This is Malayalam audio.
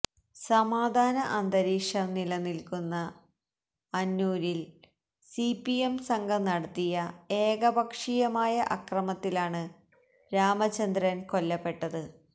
സമാധാന അന്തരീക്ഷം നിലനില്ക്കുന്ന അന്നൂരില് സിപിഎം സംഘം നടത്തിയ ഏകപക്ഷീയമായ അക്രമത്തിലാണ് രാമചന്ദ്രന് കൊല്ലപ്പെട്ടത്